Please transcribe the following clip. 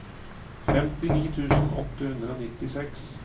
femtini tusen åtte hundre og nittiseks